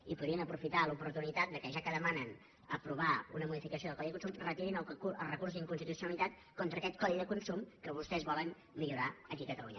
i podrien aprofitar l’oportunitat que ja que demanen aprovar una modificació del codi de consum retirin el recurs d’inconstitucionalitat contra aquest codi de consum que vostès volen millorar aquí a catalunya